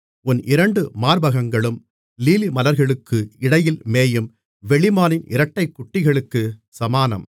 உன் இரண்டு மார்பகங்களும் லீலிமலர்களுக்கு இடையில் மேயும் வெளிமானின் இரட்டைக்குட்டிகளுக்குச் சமானம்